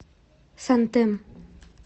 сантем